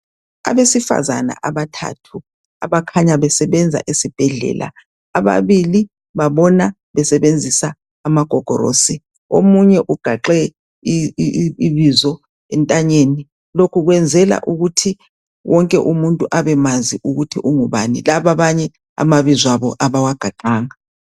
Abesifazana abathathu abakhanya besebwnza esibhendlela ababili babona besebenzisa amagogorosi omunye ugaxe ibizo entanyeni lokhu kwenzela ukuthi wonke umuntu abemazi ukuthi ungubani laba abanye amabizo abo abawagaxanga